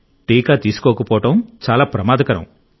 టీకా తీసుకోకపోవడం చాలా ప్రమాదకరం